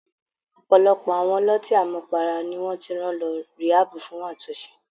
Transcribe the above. Ọ̀pọ̀lọpọ̀ àwọn ọlọ́tí àmupara ni wọ́n ti rán lọ ríhábù fún àtúnṣe.